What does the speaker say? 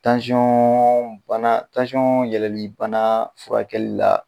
Tansɔbana tansɔn yɛlɛlibana furakɛli la